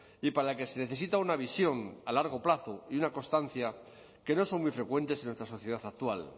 y para la que se necesita una visión a largo plazo y una constancia que no son muy frecuentes en nuestra sociedad actual